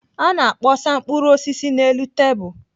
A na-akpọsa mkpụrụ osisi n'elu tebụl.